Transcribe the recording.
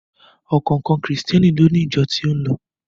Ọ̀kọ̀ọ̀kan Krìstẹ́ni ni ó ni ìjọ tí ó ń lọ.